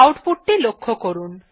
output টি লক্ষ্য করুন